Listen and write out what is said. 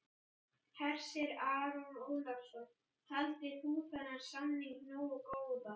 Hersir Aron Ólafsson: Taldir þú þennan samning nógu góðan?